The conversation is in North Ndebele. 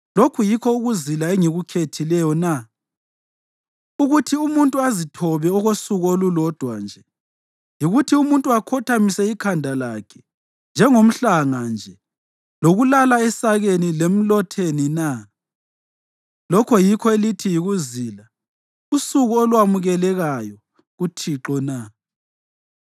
Lokhu yikho ukuzila engikukhethileyo na, ukuthi umuntu azithobe okosuku olulodwa nje? Yikuthi umuntu akhothamise ikhanda lakhe njengomhlanga nje, lokulala esakeni lemlotheni na? Lokho yikho elithi yikuzila, usuku olwamukelekayo kuThixo na?